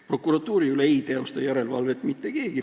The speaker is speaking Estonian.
Prokuratuuri üle ei tee järelevalvet mitte keegi.